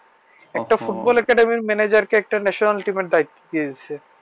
একটা football academy manager কে একটা national team এর দায়িত্ব দিয়েছে